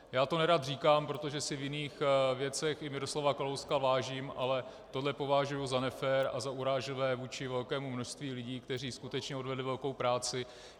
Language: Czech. Já to nerad říkám, protože si v jiných věcech i Miroslava Kalouska vážím, ale tohle považuji za nefér a za urážlivé vůči velkému množství lidí, kteří skutečně odvedli velkou práci.